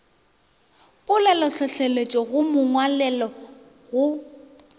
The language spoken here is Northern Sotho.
polelotlhohleletšo go ya mongwalelo go